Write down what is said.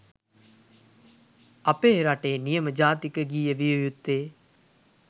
අපෙ රටෙ නියම ජාතික ගීය විය යුත්තෙ.